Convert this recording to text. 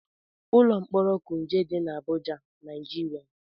Ụlọ mkpọrọ kuje dị na Abụja, Naijiria